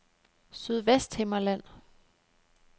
Sydvesthimmerland